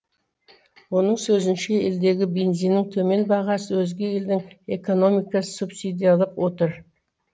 оның сөзінше елдегі бензиннің төмен бағасы өзге елдің экономикасын субсидиялап отыр